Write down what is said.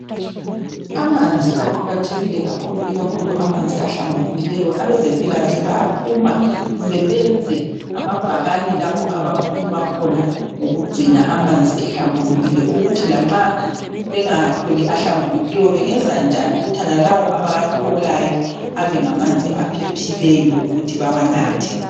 Amanzi aqakathekile kakhulu ikakhulu amanzi ahlambulukileyo abezempilakahle bayaphuma kumbe benze amabhakane lapho abakhuluma khona ngokugcina amanzi ehlambulukile ukuthi lanxa bengawatholi ahlambulukileyo bengenza njani ukuthi nalawo abawatholayo abe ngamanzi aphephileyo ukuthi bewanathe.